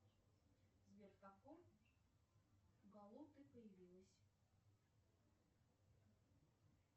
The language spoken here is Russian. сбер в каком году ты появилась